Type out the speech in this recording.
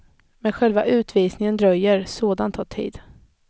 Men själva utvisningen dröjer, sådant tar tid.